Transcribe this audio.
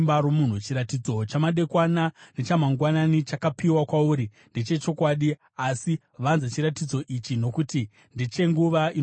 “Chiratidzo chamadekwana nechamagwanani chakapiwa kwauri ndechechokwadi, asi vanza chiratidzo icho, nokuti ndechenguva inouya.”